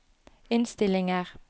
innstillinger